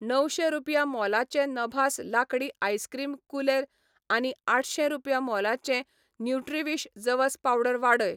णवशे रुपया मोलाचें नभास लांकडी आइसक्रीम कुलेर आनी आठशे रुपया मोलाचें न्युट्रीविश जवस पावडर वाडय.